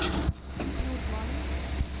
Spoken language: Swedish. Nordmaling